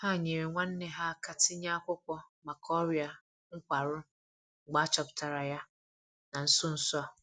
Ha nyeere nwanne ha aka tinye akwụkwọ maka ọria nkwarụ mgbe a chọpụtara ya na nso nso a.